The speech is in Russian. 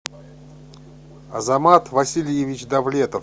азамат васильевич довлетов